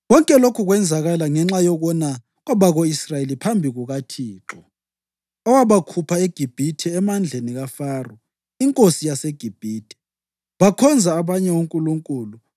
Konke lokhu kwenzakala ngenxa yokona kwabako-Israyeli phambi kukaThixo, owabakhupha eGibhithe emandleni kaFaro inkosi yaseGibhithe. Bakhonza abanye onkulunkulu